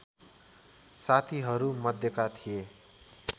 साथीहरू मध्येका थिए